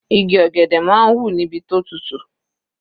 Igi ọ̀gẹ̀dẹ̀ máa ń hù níbi tó tutù.